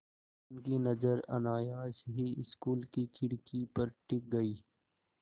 उनकी नज़र अनायास ही स्कूल की खिड़की पर टिक गई